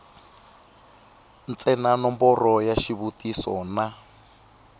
ntsena nomboro ya xivutiso na